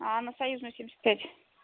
аа на союзную семьдесят пять